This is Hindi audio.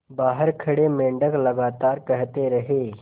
बाहर खड़े मेंढक लगातार कहते रहे